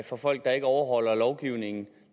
for folk der ikke overholder lovgivningen